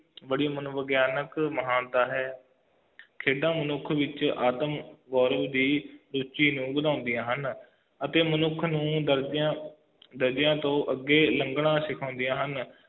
ਬੜੀ ਮਨੋਵਿਗਿਆਨਕ ਮਹਾਨਤਾ ਹੈ ਖੇਡਾਂ ਮਨੁੱਖ ਵਿਚ ਆਤਮਗੁਰਵ ਦੀ ਰੂਚੀ ਨੂੰ ਵਧਾਉਂਦੀਆਂ ਹਨ ਅਤੇ ਮਨੁੱਖ ਨੂੰ ਗਲਤੀਆਂ ਗਲਤੀਆਂ ਤੋਂ ਅੱਗੇ ਲੰਘਣਾ ਸਿਖਾਉਂਦੀਆਂ ਹਨ